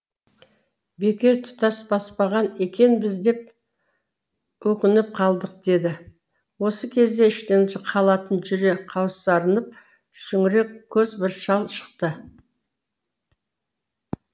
бекер тұтас баспаған екенбіз деп өкініп қалдық деді осы кезде іштен халатын жүре қаусырынып шүңірек көз бір шал шықты